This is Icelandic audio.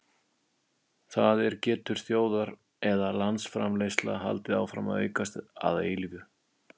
það er getur þjóðar eða landsframleiðsla haldið áfram að aukast að eilífu